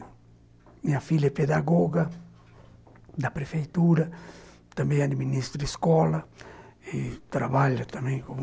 Minha filha é pedagoga da Prefeitura, também administra escola e trabalha também como